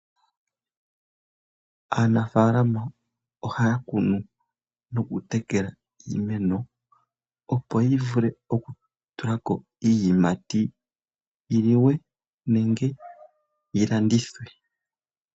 Anafaalama ohaya kunu nokutekela iimeno opo yivule oku tulako iiyimati yiliwe nenge yi landithwe.